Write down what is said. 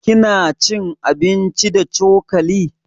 Kina cin abinci da cokali?